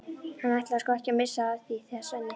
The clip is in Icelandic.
Hann ætlaði sko ekki að missa af því þegar Svenni